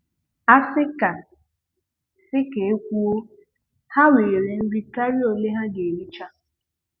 A sị ka sị ka e kwuo, ha nwere nri karịa ole ha ga-ericha.